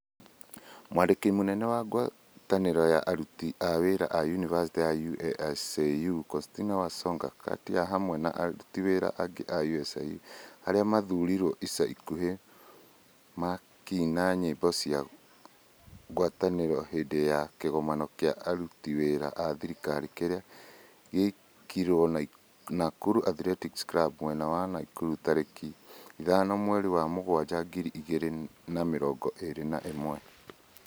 Mwandiki munene wa ngwataniro ya aruti a wira a university ũASũ Constantine Wasonga gati hamwe na aruti wira angi a ũASũ aria mathurirwo ica ikuhi makiina nyĩmbo cia ngwataniro hindi ya kigomano kia aruti wira a thirikari kĩrĩa gĩekirwo Nakuru Athletics Club mwena wa Nakuru tariki 5 mweri wa mugwanja, ngiri igĩrĩ na mĩrongo ĩrĩ na ĩmwe.